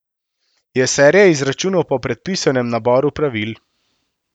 Je serija izračunov po predpisanem naboru pravil.